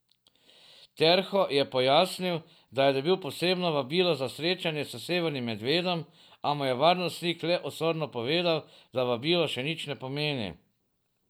Terho je pojasnil, da je dobil posebno vabilo za srečanje s Severnim medvedom, a mu je varnostnik le osorno povedal, da vabilo še nič ne pomeni.